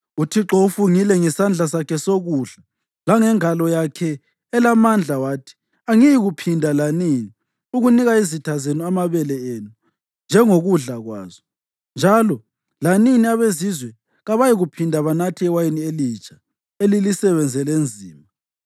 UThixo ufungile ngesandla sakhe sokudla langengalo yakhe elamandla wathi; “Angiyikuphinda lanini ukunika izitha zenu amabele enu njengokudla kwazo, njalo lanini abezizwe kabayikuphinda banathe iwayini elitsha elilisebenzele nzima.